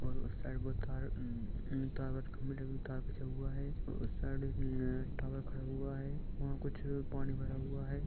उस साइड बहुत तार उम-उम टावर का मिडिल तार खीचा हुआ है और साइड उम एक टावर खड़ा हुआ है वहा कुछ पानी भरा हुआ है।